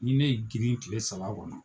Ni ne y'i girin kile saba kɔnɔ